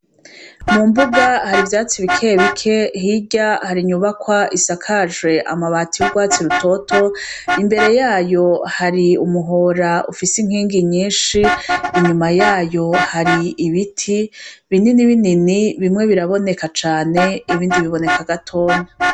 Mu mbuga hari ivyatsi bikeye bike hirya hari inyubakwa isakajwe amabati y'urwatsi rutoto imbere yayo hari umuhora ufise inkingi nyinshi, inyuma yayo hari ibiti binini binini bimwe biraboneka cane ibindi biboneka gatonya.